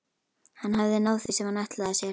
Hann hafði náð því sem hann ætlaði sér.